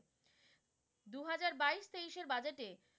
উনিশের budget এ,